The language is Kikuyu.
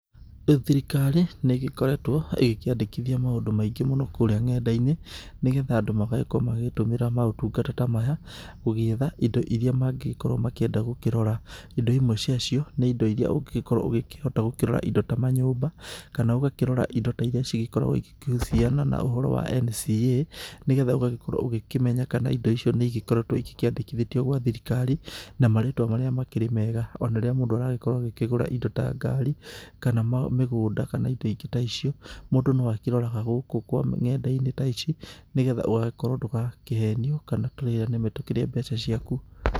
Rĩu thirikari nĩ ĩgĩkoretwo ĩkĩandĩkithia maũndũ maingĩ mũno kũrĩa nenda-inĩ nĩ getha andũ magagĩkorwo magĩtũmĩra maũtungata ta maya gũgĩetha indo iria mangĩgĩkorwo makĩenda gũkĩrora. Indo imwe cia cio nĩ indo iria ũngĩgĩkorwo ũgĩkĩhota gũkĩrora indo ta manyũmba kana ũgakĩrora indo ta iria igĩkoragwo ikĩhuciana na ũhoro wa NCA. Nĩ getha ũgagĩkorwo ũgĩkĩmenya kana indo icio nĩ igĩkoretwo ikĩandĩkithĩtio gwa thirikari na marĩtwa marĩa makĩrĩ mega. Ona rĩrĩa mũndũ aragĩkorwo agĩkĩgũra indo ta ngari kana mĩgũnda kana indo ingĩ ta icio, mũndũ no akĩroraga gũkũ kwa nenda-inĩ ta ici nĩ getha ũgagĩkorwo ndũgagĩkorwo ũkĩhenio kana tũrĩa nĩme tũkĩrĩe mbeca ciaku.